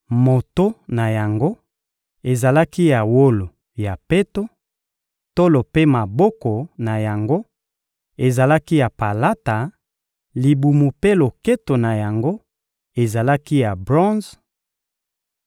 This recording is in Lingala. moto na yango ezalaki ya wolo ya peto, tolo mpe maboko na yango ezalaki ya palata, libumu mpe loketo na yango ezalaki ya bronze,